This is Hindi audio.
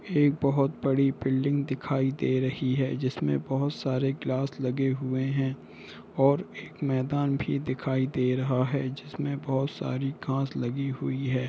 एक बहुत बड़ी बिल्डिग दिखाई दे रही है जिसमे बहुत सारे ग्लास लगे हुए है और एक मैदान भी दिखाई दे रहा है जिसमे बहुत सारी घास लगी हुयी है।